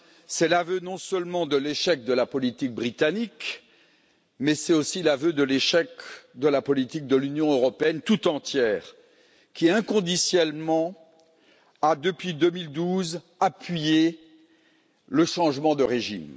C'est l'aveu, non seulement de l'échec de la politique britannique, mais c'est aussi l'aveu de l'échec de la politique de l'Union européenne toute entière qui, inconditionnellement, a, depuis 2012, appuyé le changement de régime.